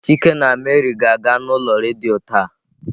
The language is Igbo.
Chike na Mary ga-aga n'ulo redio ta.